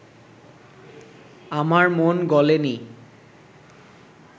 আমার মন গলে নি